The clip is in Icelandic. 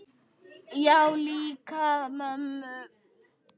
Já, líka mömmu